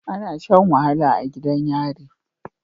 Ana Shan wahala a gidan yari